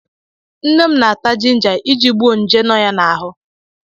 Nne m na-ata jinja iji gbuo nje nọ ya n'ahụ.